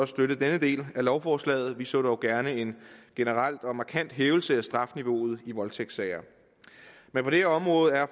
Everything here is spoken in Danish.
støtte denne del af lovforslaget vi så dog gerne en generel og markant hævelse af strafniveauet i voldtægtssager men på det her område er